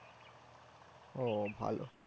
ও ভালো